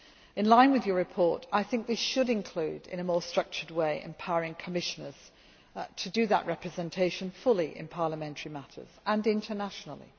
In line with your report, I think we should include in a more structured way empowering Commissioners to do that representation fully in parliamentary matters and internationally.